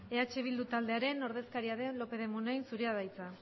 eh bildu taldearen ordezkaria den lópez de muniain zurea da hitza